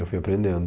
Eu fui aprendendo.